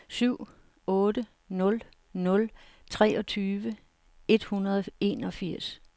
syv otte nul nul treogtyve et hundrede og enogfirs